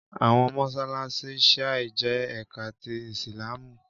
Àwọn mọṣáláṣí Shia jẹ́ ẹka ti Ìsìlámù